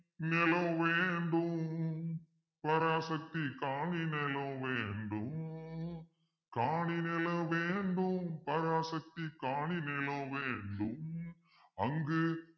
நிலம் வேண்டும் பராசக்தி காணி நிலம் வேண்டும் காணி நிலம் வேண்டும் பராசக்தி காணி நிலம் வேண்டும் அங்கு